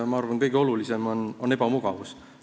Ma arvan, et kõige olulisem põhjus on ebamugavus.